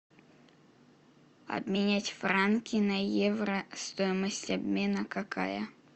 обменять франки на евро стоимость обмена какая